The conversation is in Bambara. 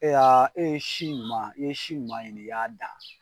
Ay'a e ye si ɲuman e ye si ɲuman ɲini i y'a dan